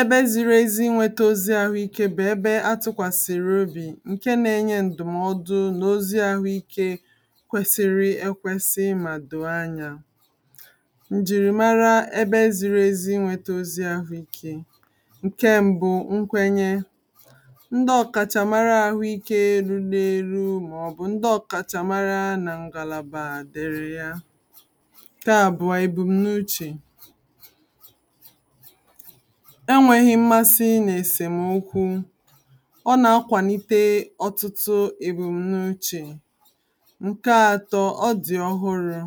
ebe ziri ezi inwėtȧ ozi àhụikė bụ̀ ebe atụ̇kwàsìrì obì ǹke na-enye ǹdụ̀mọdụ n’ozi àhụikė kwesiri ekwesi mà dò anya ǹjìrì mara ebe ziri ezi inwėtȧ ozi àhụikė ǹke mbụ nkwenye ndị ọ̀kàchàmara àhụikė e ru n’eru mà ọ̀ bụ̀ ndị ọ̀kàchàmara kaà bùwà èbùm̀nuchì enwėghi̇ m̀masi ị nà-èsèm okwu ọ na-akwàlite ọtụtụ èbùm̀nuchì ǹke atọ, ọ dì ọhụrụ̇